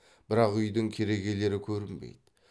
бірақ үйдің керегелері көрінбейді